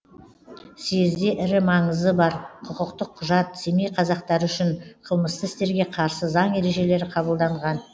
съезде ірі маңызы бар құқықтық құжат семей қазақтары үшін қылмысты істерге қарсы заң ережелері қабылданған